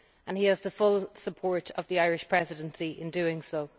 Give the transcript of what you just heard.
He has the full support of the Irish Presidency in doing so.